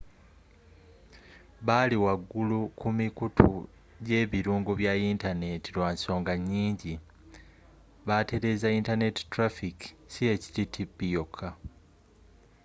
bali wagulu ku mikutu jebirungo bya yinyaneti lwansonga nyingi batereza internet traffic si http yoka